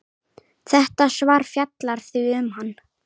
Þetta svar fjallar því um hann.